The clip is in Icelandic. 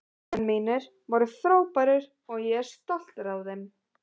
Leikmenn mínir voru frábærir og ég er stoltur af þeim.